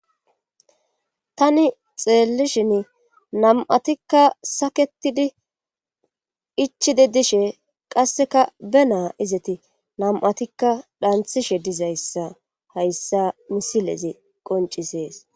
Tani xeellishin nam'atikka saketidi ichide dishe qasseka be naa izati nam'atikka dhanthishe dizayssa hayssa misilezi qoncisees.